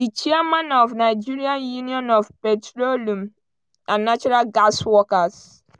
di chairman of nigeria union of petroleum and natural gas workers (nupeng)